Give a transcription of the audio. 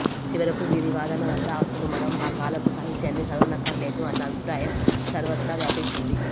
చివరకు వీరి వాదనలవల్ల అసలు మనం ఆ కాలపు సాహిత్యాన్ని చదవనక్కరలేదు అన్న అభిప్రాయం సర్వత్రా వ్యాపించింది